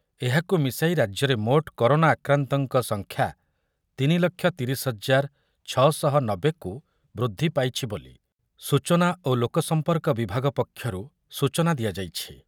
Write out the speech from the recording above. ଏହାକୁ ମିଶାଇ ରାଜ୍ୟରେ ମୋଟ କରୋନା ଆକ୍ରାନ୍ତଙ୍କ ସଂଖ୍ୟା ତିନି ଲକ୍ଷ ତିରିଶ ହଜାର ଛଅ ଶହ ନବେ କୁ ବୃଦ୍ଧି ପାଇଛି ବୋଲି ସୂଚନା ଓ ଲୋକ ସମ୍ପର୍କ ବିଭାଗ ପକ୍ଷରୁ ସୂଚନା ଦିଆଯାଇଛି ।